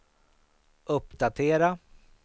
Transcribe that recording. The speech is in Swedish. uppdatera